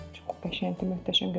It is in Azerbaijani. Çox qəşəngdir, möhtəşəm görünür.